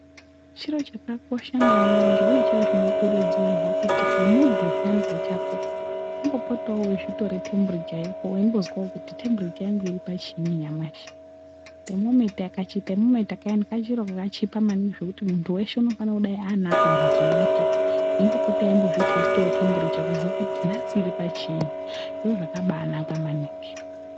Chiro chakakosha maningi uye chiro chinokurudzirwa kuti semunhu zviyani pachako umbopotawo weizvitorawo tembiricha yako weimbozwawo kuti tembiricha yangu iripachii nyamashi , kamuchini aka kachiro kakachipa maningi zvekuti munhu weshe unodai anako mumhatso mwake eimbopota embozvi tesitawo tembiricha kuti nhasi iripachiinyi zviro zvakanakan maningi.